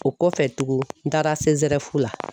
O kɔfɛ tuguni n taara CSREF la